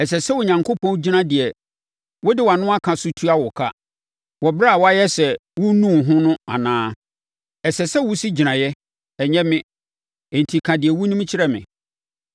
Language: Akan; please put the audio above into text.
Ɛsɛ sɛ Onyankopɔn gyina deɛ wode wʼano aka so tua wo ka, wɔ ɛberɛ a woayɛ sɛ worennu wo ho anaa? Ɛsɛ sɛ wosi gyinaeɛ, ɛnyɛ me; enti ka deɛ wonim kyerɛ me.